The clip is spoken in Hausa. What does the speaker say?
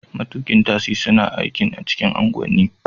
Matukin tasi suna aikin a cikin unguwanni